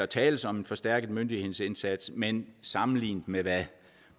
tales om en forstærket myndighedsindsats men sammenlignet med hvad